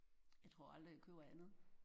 Jeg tror aldrig jeg køber andet